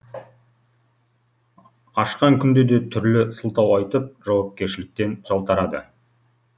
ашқан күнде де түрлі сылтау айтып жауапкершіліктен жалтарады